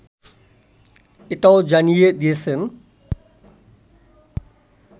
এটাও জানিয়ে দিয়েছেন